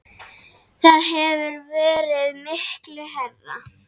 Það hefur verið miklu hærra.